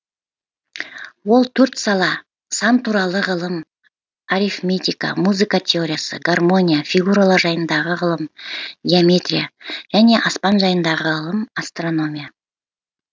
ол төрт сала сан туралы ғылым арифметика музыка теориясы гармония фигуралар жайындағы ғылым геометрия және аспан жайындағы ғылым астрономия